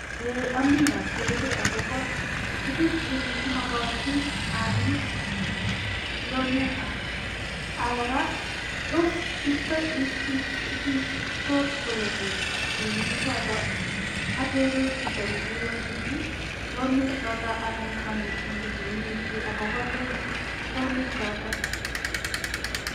Eeh ami atebe akobo tuguk che makatin anyit, loniek ak kora tos iysot kolene loniek choto, atepe chito netelelchini loniek chotok anan kanetindet neineti akobo loniek choto.